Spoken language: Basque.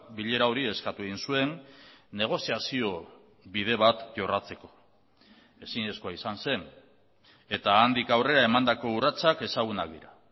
bilera hori eskatu egin zuen negoziazio bide bat jorratzeko ezinezkoa izan zen eta handik aurrera emandako urratsak ezagunak dira